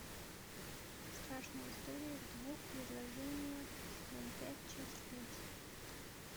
страшные истории в двух предложениях сезон пять часть пять